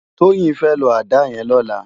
Toyin fè ló àdá yèn lòlá